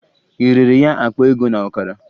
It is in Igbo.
Ị rere ya akpa ego na ọkara?